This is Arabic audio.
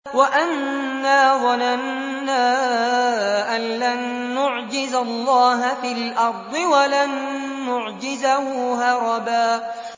وَأَنَّا ظَنَنَّا أَن لَّن نُّعْجِزَ اللَّهَ فِي الْأَرْضِ وَلَن نُّعْجِزَهُ هَرَبًا